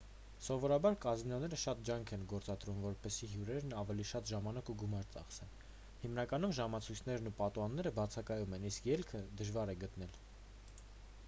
սովորաբար կազինոները շատ ջանք են գործադրում որպեսզի հյուրերն ավելի շատ ժամանակ և գումար ծախսեն հիմնականում ժամացույցերն ու պատուհանները բացակայում են իսկ ելքը դժվար է գտնել